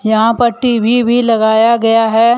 यहां पर टी_वी भी लगाया गया है।